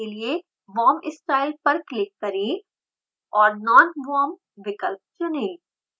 wormstyle पर click करें और nonworm विकल्प चुनें